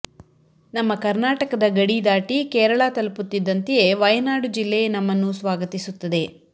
ನಮ್ಮ ಕರ್ನಾಟಕದ ಗಡಿ ದಾಟಿ ಕೇರಳ ತಲುಪುತ್ತಿದ್ದಂತೆಯೇ ವಯನಾಡು ಜಿಲ್ಲೆ ನಮ್ಮನ್ನು ಸ್ವಾಗತಿಸುತ್ತದೆ